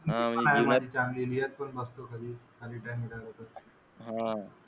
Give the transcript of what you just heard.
, मस्त झाली अह